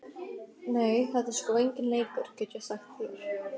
Nei, þetta er sko enginn leikur, get ég sagt þér.